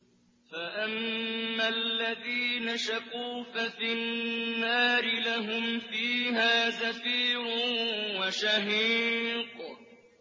فَأَمَّا الَّذِينَ شَقُوا فَفِي النَّارِ لَهُمْ فِيهَا زَفِيرٌ وَشَهِيقٌ